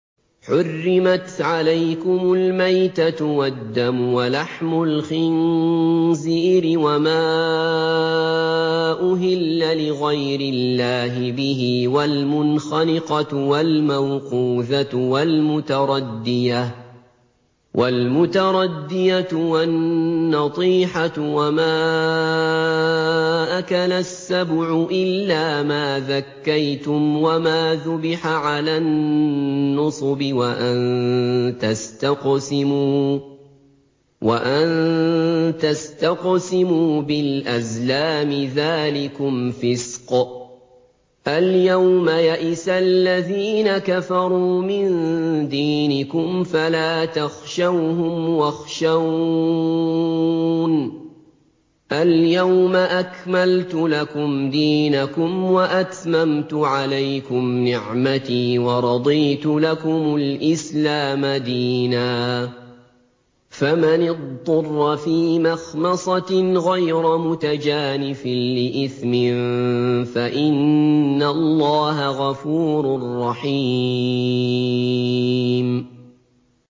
حُرِّمَتْ عَلَيْكُمُ الْمَيْتَةُ وَالدَّمُ وَلَحْمُ الْخِنزِيرِ وَمَا أُهِلَّ لِغَيْرِ اللَّهِ بِهِ وَالْمُنْخَنِقَةُ وَالْمَوْقُوذَةُ وَالْمُتَرَدِّيَةُ وَالنَّطِيحَةُ وَمَا أَكَلَ السَّبُعُ إِلَّا مَا ذَكَّيْتُمْ وَمَا ذُبِحَ عَلَى النُّصُبِ وَأَن تَسْتَقْسِمُوا بِالْأَزْلَامِ ۚ ذَٰلِكُمْ فِسْقٌ ۗ الْيَوْمَ يَئِسَ الَّذِينَ كَفَرُوا مِن دِينِكُمْ فَلَا تَخْشَوْهُمْ وَاخْشَوْنِ ۚ الْيَوْمَ أَكْمَلْتُ لَكُمْ دِينَكُمْ وَأَتْمَمْتُ عَلَيْكُمْ نِعْمَتِي وَرَضِيتُ لَكُمُ الْإِسْلَامَ دِينًا ۚ فَمَنِ اضْطُرَّ فِي مَخْمَصَةٍ غَيْرَ مُتَجَانِفٍ لِّإِثْمٍ ۙ فَإِنَّ اللَّهَ غَفُورٌ رَّحِيمٌ